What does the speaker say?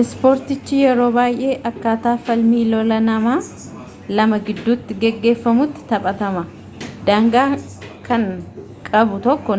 ispoortiichi yeroo baayyee akkaataa falmii lolaa nama lama giddutti gaggeffamutti taphatama daangaa kan qabu tokko